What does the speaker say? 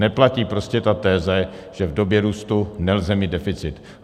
Neplatí prostě ta teze, že v době růstu nelze mít deficit.